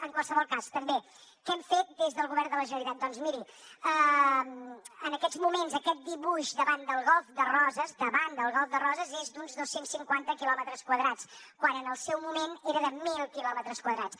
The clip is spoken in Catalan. en qualsevol cas també què hem fet des del govern de la generalitat doncs miri en aquests moments aquest dibuix davant del golf de roses davant del golf de roses és d’uns dos cents i cinquanta quilòmetres quadrats quan en el seu moment era de mil quilòmetres quadrats